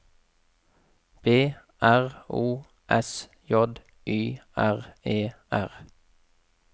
B R O S J Y R E R